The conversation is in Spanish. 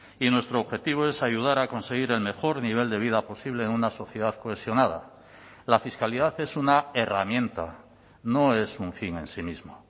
y nuestro objetivo es ayudar a conseguir el mejor nivel de vida posible en una sociedad cohesionada la fiscalidad es una herramienta no es un fin en sí mismo